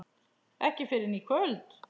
Ekki fyrr en í kvöld.